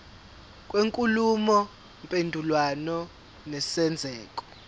kwenkulumo mpendulwano nesenzeko